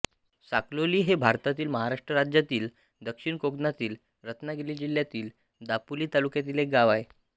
साखलोली हे भारतातील महाराष्ट्र राज्यातील दक्षिण कोकणातील रत्नागिरी जिल्ह्यातील दापोली तालुक्यातील एक गाव आहे